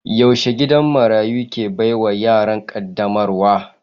Yaushe gidan marayu ke baiwa yaran kaddamarwa?